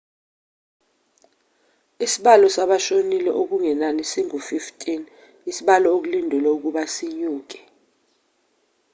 isibalo sabashonile okungenani singu-15 isibalo okulindelwe ukuba sinyuke